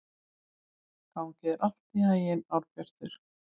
Gangi þér allt í haginn, Árbjartur.